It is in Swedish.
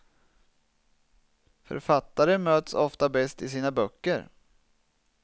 Författare möts ofta bäst i sina böcker.